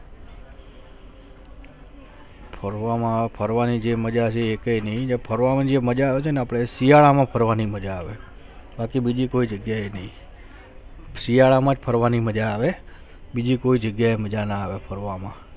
ફરવા માં ફરવાની જે મજા છે એ કેને ફરવાની જે મજા આવે છે આપડે શિયાળા માં ફરવાની મજા આવે પછી બિજી કોઈ જગ્યા નહિ શિયાળા માં ફરવાની મજા આવે બિજી કોઈ જગ્યા મજા ના આવે ફરવામાં